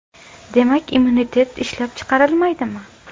Demak, immunitet ishlab chiqarilmaydimi?